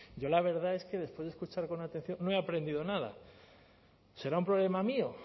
yo la verdad es que después de escuchar con atención no he aprendido nada será un problema mío